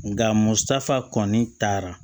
Nka musaka kɔni taara